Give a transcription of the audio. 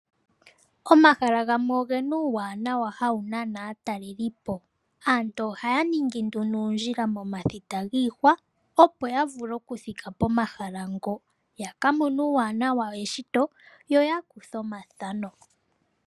Omahala gamwe ogena uuwanawa hawu nana aatalelipo. Aantu ohaya ningi nduno uundjila momathita giihwa opo ya vule okuthika pomahala ngo, ya ka mone uuwanawa weshito yo yakuthe omathano.